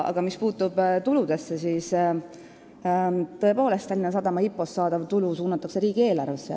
Aga mis puutub tulusse, siis tõepoolest, Tallinna Sadama IPO-st saadav tulu suunatakse riigieelarvesse.